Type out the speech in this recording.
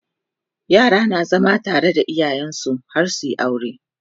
yara na zama tare da iyayensu har suyi aure